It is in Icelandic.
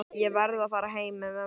Ég verð að fara heim með mömmu.